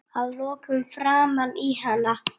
Að lokum framan í hana.